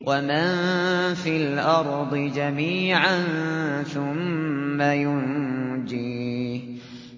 وَمَن فِي الْأَرْضِ جَمِيعًا ثُمَّ يُنجِيهِ